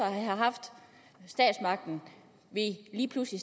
have haft statsmagten lige pludselig